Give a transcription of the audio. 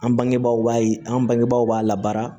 An bangebaaw b'a yi an bangebaaw b'a la baara